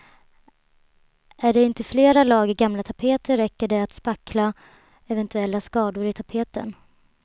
Är det inte flera lager gamla tapeter räcker det att spackla eventuella skador i tapeten.